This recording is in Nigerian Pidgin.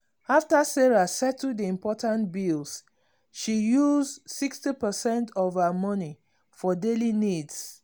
after sarah settle the important bills she use 60 percent of her money for daily needs.